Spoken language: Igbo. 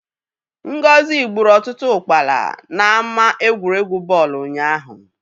Ngozi gburu ọtụtụ ụkpala n'ámá egwuregwu bọọlụ ụnyaahụ.